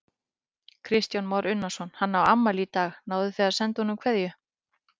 Kristján Már Unnarsson: Hann á afmæli í dag, náðuð þið að senda honum kveðju?